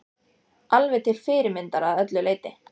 Alveg til fyrirmyndar að öllu leyti!